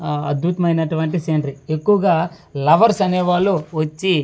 ఆ అద్భుతమైనటువంటి సిండ్రి ఎక్కువగా లవర్స్ అనే వాళ్ళు వచ్చి ఇక్కడ వ--